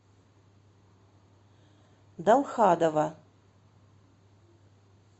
далхадова